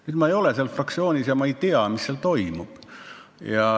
Nüüd ma ei ole selles fraktsioonis ega tea, mis seal toimub.